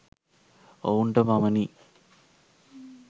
ඔවුන්ට පමණි.